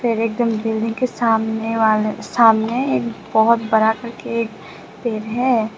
एकदम बिल्डिंग के सामने वाले सामने एक बहुत बड़ा करके पेड़ है।